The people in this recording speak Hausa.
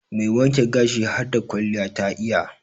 Mai wanke gashin harda kwalliya ta iya.